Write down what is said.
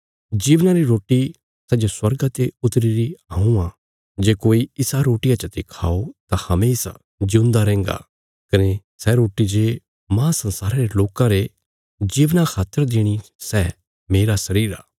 जीवना री रोटी सै जे स्वर्गा ते उतरी हऊँ आ जे कोई इसा रोटिया चते खाओ तां हमेशा जिऊंदा रैहन्गा कने सै रोटी जे मांह संसारा रे लोकां रे जीवना खातर देणी सै मेरा शरीर आ